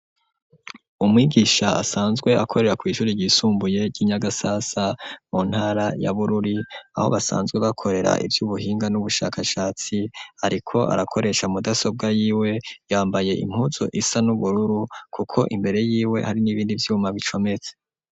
Umwigisha asanzwe akorera kw'ishure ryisumbuye ry'inyagasasa mu ntara ya bururi, aho basanzwe bakorera ivy'ubuhinga n'ubushakashatsi ariko arakoresha imashini nyabwonko y'iwe yambaye impuzu isa n'ubururu kuko imbere yiwe hari n'ibindi vyuma bicometse.